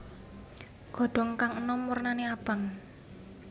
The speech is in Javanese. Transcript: Godhong kang enom wernane abang